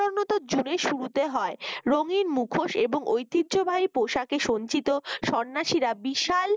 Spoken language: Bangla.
jun এর শুরুতে হয় রঙিনমুখোশ এবং ঐতিহ্যবাহী পোশাকে সজ্জিত সন্ন্যাসীরা বিশাল